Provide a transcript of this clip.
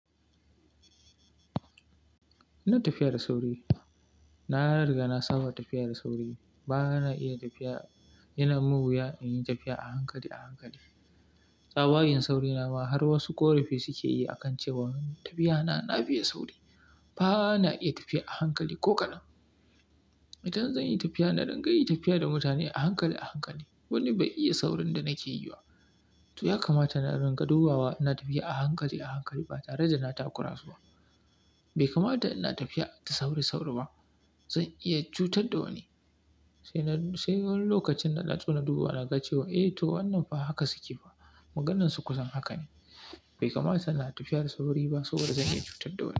Ina tafiya da sauri, na riga na saba tafiya da sauri. Ba na iya tafiya, yana man wuya in yi tafiya a hankali a hankali. Tsabagen saurina ma har wasu ƙorafi suke yi a kan cewa tafiyana na fiye sauri. Ba na iya tafiya a hankali ko kaɗan. Idan zan yi tafiya, na dinga yi tafiya da mutane a hankali a hankali. Wani bai iya saurin da nake yi ba to ya kamata na ringa dubawa ina tafiya a hankali a hankali ba tare da na takura ba. Bai kamata ina tafiya da sauri sfauri ba, zan iya cutar da wani. Sai na sai wani lokacin na naso na duba na ga cewa eh to wannan fa haka suke fa Maganansu kusan haka ne. Bai kamata ina tafiya da sauri ba saboda zan iya cutar da wani.